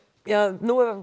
nú er